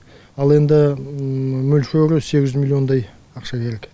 ал енді мөлшері сегіз жүз миллиондай ақша керек